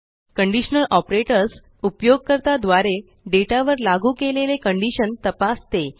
conditional operators उपयोगकर्ता द्वारे data वर लागू केलेले कंडीशन तपासते